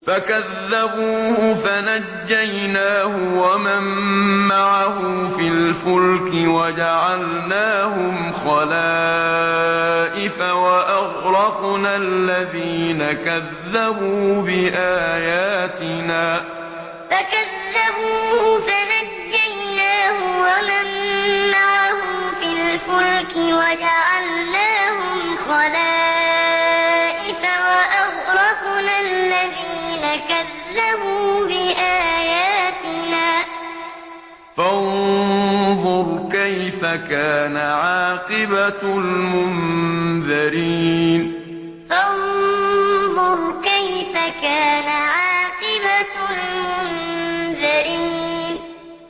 فَكَذَّبُوهُ فَنَجَّيْنَاهُ وَمَن مَّعَهُ فِي الْفُلْكِ وَجَعَلْنَاهُمْ خَلَائِفَ وَأَغْرَقْنَا الَّذِينَ كَذَّبُوا بِآيَاتِنَا ۖ فَانظُرْ كَيْفَ كَانَ عَاقِبَةُ الْمُنذَرِينَ فَكَذَّبُوهُ فَنَجَّيْنَاهُ وَمَن مَّعَهُ فِي الْفُلْكِ وَجَعَلْنَاهُمْ خَلَائِفَ وَأَغْرَقْنَا الَّذِينَ كَذَّبُوا بِآيَاتِنَا ۖ فَانظُرْ كَيْفَ كَانَ عَاقِبَةُ الْمُنذَرِينَ